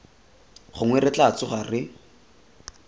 gongwe re tla tsoga re